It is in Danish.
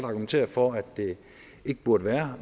argumentere for at det ikke burde være